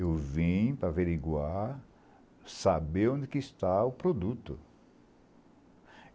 Eu vim para averiguar, saber onde está o produto.